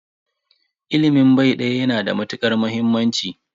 Ilimin bai daya yana da matukar muhimmanci.